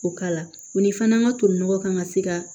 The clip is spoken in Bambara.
O k'a la o ni fana n ka to nɔgɔ kan ka se ka